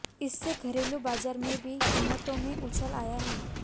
इससे घरेलू बाजार में भी कीमतों में उछाल आया है